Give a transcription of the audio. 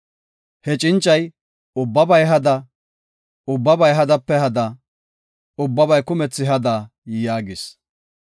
He cincay, “Ubbabay hada; ubbabay hadape hada; ubbabay kumethi hada” yaagis.